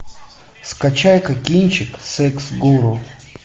скачай ка кинчик секс гуру